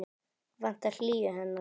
Vantar hlýju hennar.